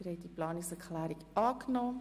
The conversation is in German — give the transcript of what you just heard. Sie haben die Planungserklärung 9 angenommen.